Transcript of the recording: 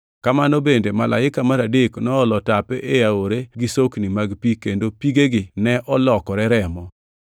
Kamano bende Malaika mar adek noolo tape e aore gi sokni mag pi kendo pigegi ne olokore remo.